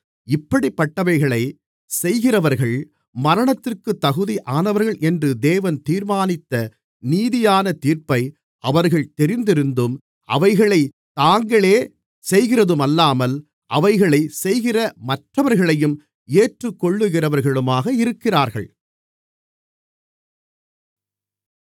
இப்படிப்பட்டவைகளைச் செய்கிறவர்கள் மரணத்திற்குத் தகுதியானவர்கள் என்று தேவன் தீர்மானித்த நீதியான தீர்ப்பை அவர்கள் தெரிந்திருந்தும் அவைகளைத் தாங்களே செய்கிறதுமல்லாமல் அவைகளைச் செய்கிற மற்றவர்களையும் ஏற்றுக்கொள்ளுகிறவர்களுமாக இருக்கிறார்கள்